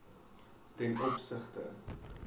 ten opsigte